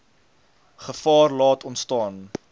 gevaar laat ontstaan